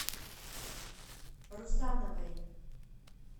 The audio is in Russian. русановой